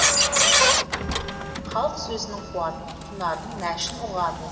халық сөзінің қуатын құнарын нәшін ұғады